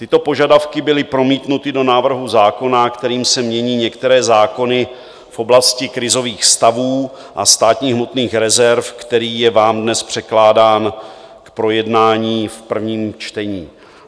Tyto požadavky byly promítnuty do návrhu zákona, kterým se mění některé zákony v oblasti krizových stavů a státních hmotných rezerv, který je vám dnes překládán k projednání v prvním čtení.